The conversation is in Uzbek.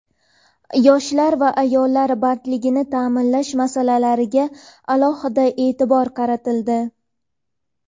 Yoshlar va ayollar bandligini ta’minlash masalalariga alohida e’tibor qaratildi.